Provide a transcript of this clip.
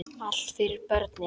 Allt fyrir börnin.